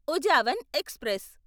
Uzhavan express